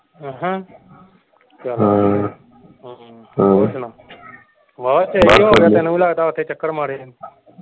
ਚੱਲ ਵਧੀਆ ਹੋਰ ਸੁਣਾ ਵਾਵਾ ਚਿਰ ਹੀ ਹੋ ਗਿਆ ਤੈਨੂੰ ਵੀ ਲੱਗਦਾ ਓਥੇ ਚੱਕਰ ਮਾਰੇ ਨੂੰ।